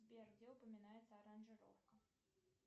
сбер где упоминается аранжировка